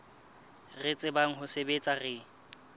re tsebang ho sebetsa re